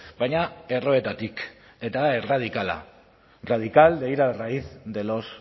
baina erroetatik eta erradikala radical de ir a raíz de los